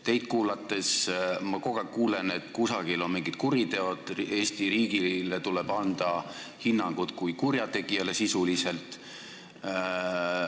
Teid kuulates ma kogu aeg kuulen, et kusagil on tehtud mingid kuriteod, et Eesti riigile tuleb anda hinnang kui sisuliselt kurjategijale.